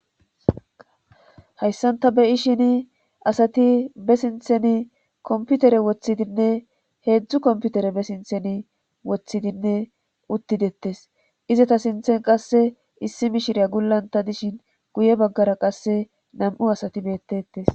hayssan ta beyishini asati be sinthen kompitere woththidinne heedzdzu kompintere be sinthen woththidinne uttidettes izeta sinthen qasse issi mishirya gullanta dishin guye baggara qasse nam'u asati beettetes